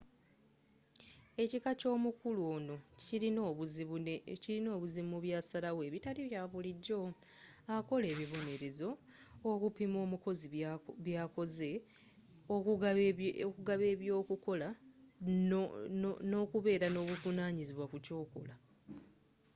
ekika ky'omukulu ono kirina obuzibu mu byasalawo ebitali bya bulijjo akola ebibonerezo okupima omukozi bwakoze okugaba eby'okukola n'okubeera n'obuvunanyizibwa ku kyokola